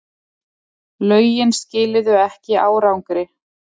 Lögin skiluðu ekki árangri